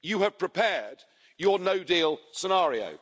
You have prepared your no deal scenario.